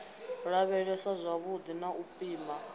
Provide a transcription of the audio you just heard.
lavhelesa zwavhudi na u pima